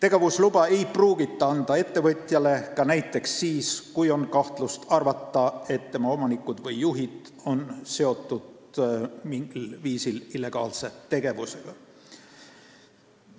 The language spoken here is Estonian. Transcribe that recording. Ettevõtjale ei pruugita anda tegevusluba näiteks siis, kui on kahtlus, et tema omanikud või juhid on mingil viisil illegaalse tegevusega seotud.